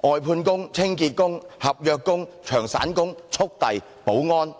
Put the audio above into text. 例如外判工、清潔工、合約工、長散工、速遞、保安。